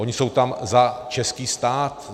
Oni jsou tam za český stát.